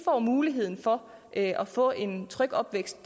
får mulighed for at få en tryg opvækst